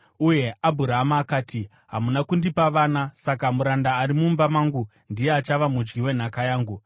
Uye Abhurama akati, “Hamuna kundipa vana; saka muranda ari mumba mangu ndiye achava mudyi wenhaka yangu.”